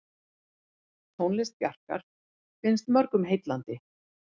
Tónlist Bjarkar finnst mörgum heillandi.